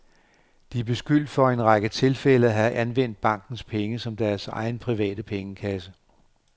De er beskyldt for i en række tilfælde at have anvendt bankens penge som deres egen private pengekasse.